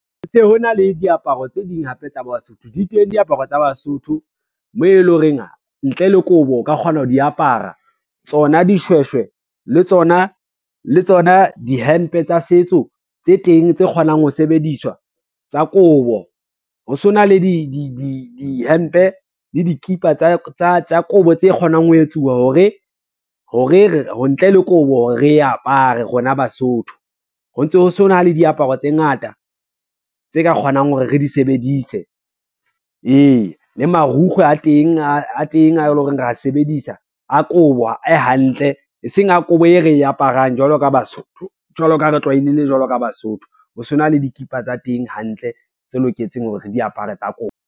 Ho se ho na le diaparo tse ding hape tsa Basotho di teng diaparo tsa Basotho, mo e lo reng ntle le kobo o ka kgona ho di apara. Tsona dishweshwe le tsona dihempe tsa setso tse teng, tse kgonang ho sebediswa tsa kobo. Ho so na dihempe le dikipa tsa kobo tse kgonang ho etsuwa ho re ntle le kobo hore re apare rona Basotho, ho se ho na le diaparo tse ngata tse ka kgonang hore re di sebedise, ee. Le marukgwe a teng a e lo reng ra sebedisa a kobo a hantle, e seng a kobo e re aparang jwalo ka Basotho, jwalo ka ha re tlwalehile jwalo ka Basotho, ho sona le dikipa tsa teng hantle tse loketseng hore re di apare tsa kobo.